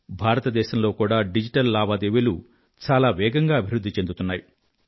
భారతదేశంలో కూడా డిజిటల్ లావాదేవీలు చాలా వేగంగా అభివృధ్ధి చెందుతున్నాయి